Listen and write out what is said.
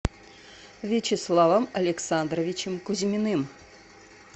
вячеславом александровичем кузьминым